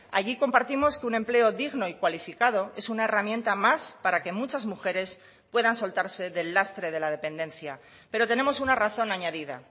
allí compartimos que un empleo digno y cualificado es una herramienta más para que muchas mujeres puedan soltarse del lastre de la dependencia pero tenemos una razón añadida